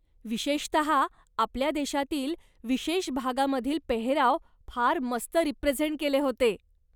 विशेषतः आपल्या देशातील विशेष भागामधील पेहराव फार मस्त रीप्रेझेंट केले होते.